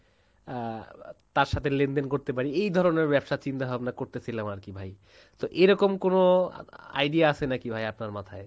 আহ তার সাথে লেনদেন করতে পারি এই ধরণের ব্যবসার চিন্তা ভাবনা করতে ছিলাম আরকি ভাই, তো এই রকম কোনো idea আছে নাকি ভাই আপনার মাথায়?